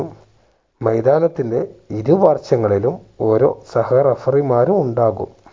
മൈതാനത്തിന്റെ ഇരു വശങ്ങളിലും ഓരോ സഹ referee മാരും ഉണ്ടാകും